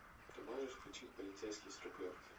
ты можешь включить полицейский с рублевки